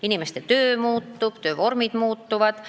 Inimeste töö muutub, töövormid muutuvad.